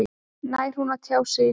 Nær hún að tjá sig í dag?